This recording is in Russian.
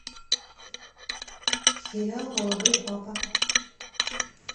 сериал молодой папа